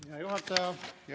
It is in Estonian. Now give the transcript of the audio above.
Hea juhataja!